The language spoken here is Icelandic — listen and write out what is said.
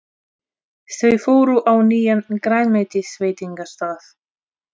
Þau fóru á nýjan grænmetisveitingastað.